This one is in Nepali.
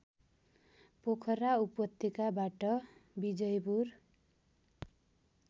पोखरा उपत्यकाबाट बिजयपुर